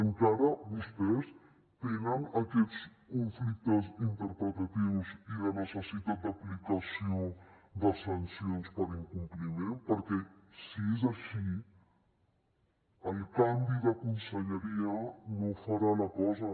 encara vostès tenen aquests conflictes interpretatius i de necessitat d’aplicació de sancions per incompliment perquè si és així el canvi de conselleria no farà la cosa